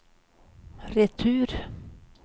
retur